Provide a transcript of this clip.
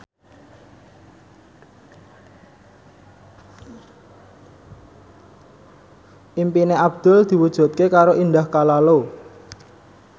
impine Abdul diwujudke karo Indah Kalalo